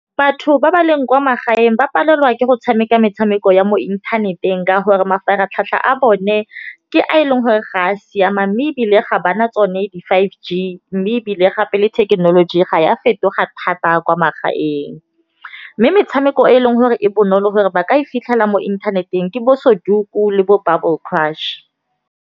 Batho ba ba leng kwa magaeng ba palelwa ke go tshameka metshameko ya mo inthaneteng. Ka gore mafaratlhatlha a bone ke a e leng gore ga a siama, mme ebile ga bana tsone di five G mme ebile gape le thekenoloji ga ya fetoga thata kwa magaeng. Mme metshameko e eleng gore e bonolo gore ba ka e fitlhela mo inthaneteng ke bo Sudoku le bo Bubble Crush.